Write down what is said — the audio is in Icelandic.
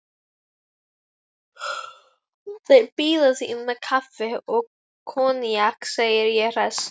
Þeir bíða þín með kaffi og koníak, segi ég hress.